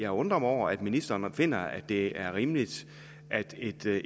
undrer mig over at ministeren finder at det er rimeligt at